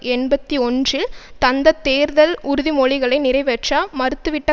எண்பத்தி ஒன்றில் தந்த தேர்தல் உறுதிமொழிகளை நிறைவேற்ற மறுத்துவிட்ட